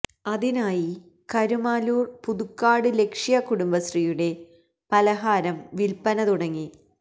അതിനായി കരുമാല്ലൂർ പുതുക്കാട് ലക്ഷ്യ കുടുംബശ്രീയുടെ പലഹാരം വിൽപ്പന തുടങ്ങി